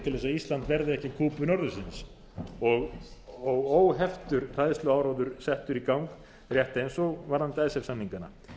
ísland verði ekki að kúbu norðursins og óheftur hræðsluáróður settur í gang rétt eins og varðandi icesave samningana